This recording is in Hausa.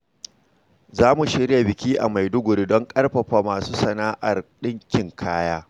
Za mu shirya biki a Maiduguri don ƙarfafa masu sana’ar dinkin kaya.